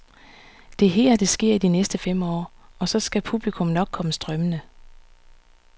Det er her, det sker i de næste fem år, og så skal publikum nok komme strømmende.